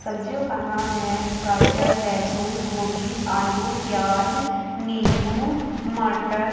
सब्जियों का नाम है गाजर लहसुन गोभी आलू प्याज नींबू मटर--